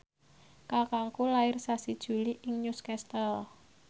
kakangku lair sasi Juli ing Newcastle